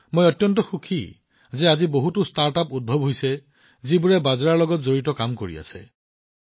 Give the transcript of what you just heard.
মই ভাল পাইছো যে আজি এই সন্দৰ্ভত বহুতো ষ্টাৰ্টআপ উদ্ভৱ হৈছে যিবোৰে বাজৰাৰ ওপৰত কাম কৰি আছে